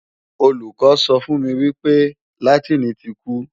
Olùkọ́ sọ fun wípé èdè Látìnì ti kú